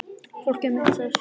Fólkið mitt sagði sögur.